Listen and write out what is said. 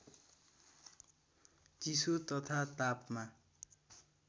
चिसो तथा तापमा